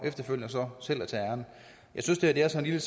så selv at tage æren jeg synes det her er så lille